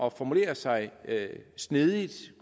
at formulere sig snedigt